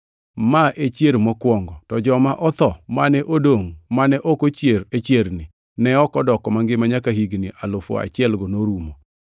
Ma e chier mokwongo. To joma otho mane odongʼ mane ok ochier e chierni, ne ok odoko mangima nyaka higni alufu achielgo norumo.